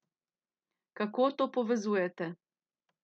Kako to povezujete?